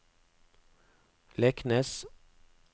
Leknes